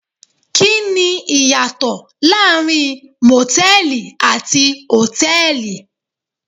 Kí ni ìyàtọ̀ láàrin Mòtẹ́lìì àti Hòtẹ́lìì.